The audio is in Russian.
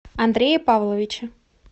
андрее павловиче